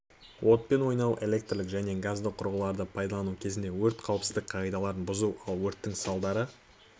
отпен ойнауы электрлік және газды құрылғыларды пайдалану кезінде өрт қауіпсіздігі қағидаларын бұзу ал өрттің салдары